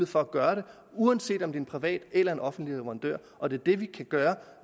for at gøre det uanset om en privat eller en offentlig leverandør og det er det vi kan gøre